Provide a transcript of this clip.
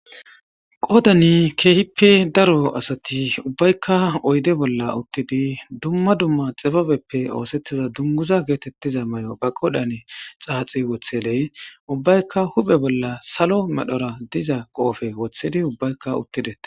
qodani keehippe daro asati ubbaykka oyde bolla uttidi dumma dumma xibabeppe oosettiza dunguza geetettiza may7o ba qodhane xaaxi wotheley ubbaykka huphe bolla salo medhora diza qoofe wothedi ubbaykka uttidete